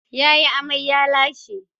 Ya yi amai, ya lashe.